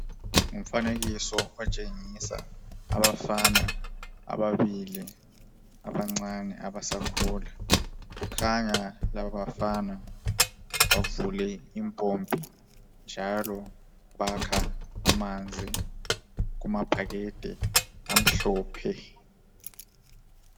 Ngumfanekiso otshengisa abafana ababili abancane abasakhula kukhanya laba bafana bavule impompi njalo bakha amanzi kumabhakede amhlophe.